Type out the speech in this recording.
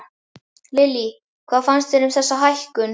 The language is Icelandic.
Lillý: Hvað finnst þér um þessa hækkun?